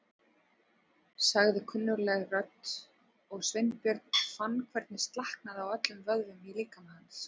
sagði kunnugleg rödd og Sveinbjörn fann hvernig slaknaði á öllum vöðvum í líkama hans.